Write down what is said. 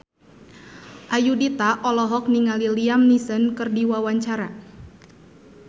Ayudhita olohok ningali Liam Neeson keur diwawancara